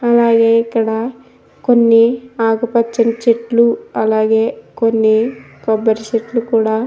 అలాగే ఇక్కడ కొన్ని ఆకుపచ్చని చెట్లు అలాగే కొన్ని కొబ్బరి చెట్లు కూడా --